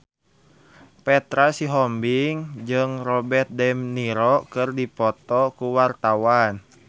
Petra Sihombing jeung Robert de Niro keur dipoto ku wartawan